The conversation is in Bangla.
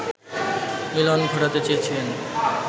মিলন ঘটাতে চেয়েছিলেন